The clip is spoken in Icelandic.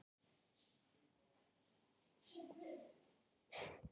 Þar uppi er víðsýnt enda er þessi hæstur þeirra fjalla sem hér eru talin.